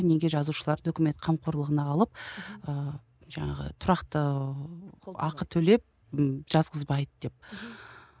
неге жазушыларды өкімет қомқорлығына алып мхм ы жаңағы тұрақты ақы төлеп ы жазғызбайды деп мхм